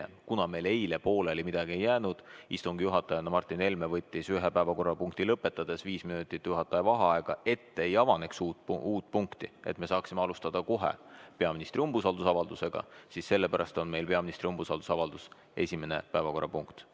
Ent kuna meil eile midagi pooleli ei jäänud, istungi juhataja Martin Helme võttis päevakorrapunkti lõpetamist viis minutit juhataja vaheaega, et ei avaneks uut punkti ja me saaksime täna alustada peaministrile umbusalduse avaldamisega, siis ongi umbusaldusavaldus esimene päevakorrapunkt.